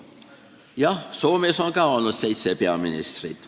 Jah, Soomes on kah olnud seitse peaministrit.